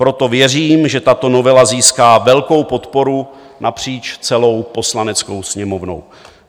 Proto věřím, že tato novela získá velkou podporu napříč celou Poslaneckou sněmovnou.